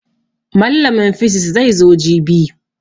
Mallamin fisis zai zo jibi